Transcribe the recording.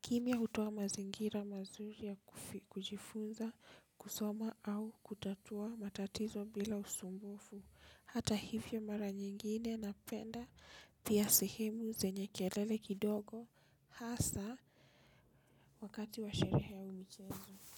Kimyaa hutoa mazingira mazuri ya kujifunza kusoma au kutatua matatizo bila usumbufu. Hata hivyo mara nyingine napenda pia sehemu zenye kelele kidogo hasa wakati wa sherehe au michezo.